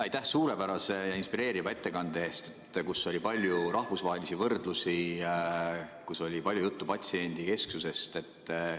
Aitäh suurepärase ja inspireeriva ettekande eest, kus oli palju rahvusvahelisi võrdlusi, kus oli palju juttu patsiendikesksusest!